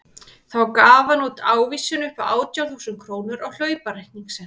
Þá gaf hann út ávísun upp á átján þúsund krónur á hlaupareikning sinn.